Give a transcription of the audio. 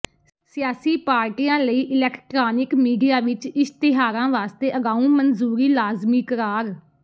ਸਿਆਸੀ ਪਾਰਟੀਆਂ ਲਈ ਇਲੈਕਟ੍ਰਾਨਿਕ ਮੀਡੀਆ ਵਿੱਚ ਇਸ਼ਤਿਹਾਰਾਂ ਵਾਸਤੇ ਅਗਾਊਂ ਮਨਜ਼ੂਰੀ ਲਾਜ਼ਮੀ ਕਰਾਰ